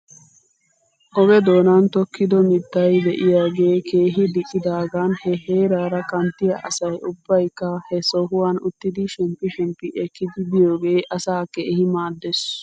Oge doonan tokkido mittay de'iyaagee keehi diccidaagan he heeraara kanttiyaa asay ubbaykka he sohuwan uttidi shemppi shemppi ekkidi biyoogee asaa keehi maaddes.